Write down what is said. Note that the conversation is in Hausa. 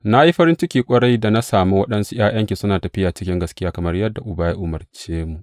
Na yi farin ciki ƙwarai, da na sami waɗansu ’ya’yanki suna tafiya cikin gaskiya, kamar yadda Uba ya umarce mu.